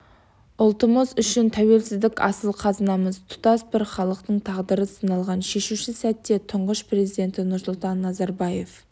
ұлтымыз үшін тәуелсіздік асыл қазынамыз тұтас бір халықтың тағдыры сыналған шешуші сәтте тұңғыш президенті нұрсұлтан назарабаев